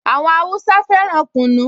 Àwọn Háúsá fẹ́ràn kunu